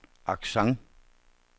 accent